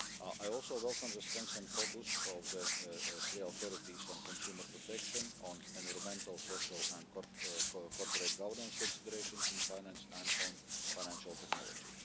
I also welcome the strength and focus of the three authorities on consumer protection, on environmental, social and corporate governance considerations in finance, and on financial technology.